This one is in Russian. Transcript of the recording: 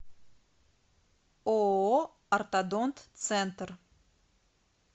ооо ортодонт центр